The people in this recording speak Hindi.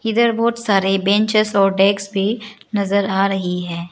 इधर बहुत सारे बेंचेज और डेस्क भी नजर आ रही है।